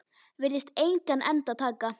Virðist engan enda taka.